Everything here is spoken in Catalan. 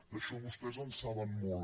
d’això vostès en saben molt